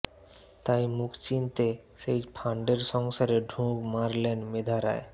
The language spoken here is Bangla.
তাই মুখ চিনতে সেই ফান্ডের সংসারে ঢুঁ মারলেন মেধা রায়